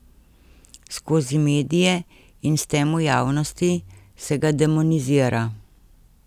Skozi medije in s tem v javnosti se ga demonizira.